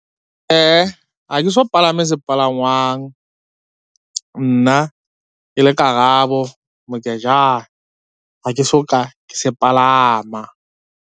Ha ke so palame sepalangwang, nna ke le Karabo Mokejane ha ke so ka ke se palama.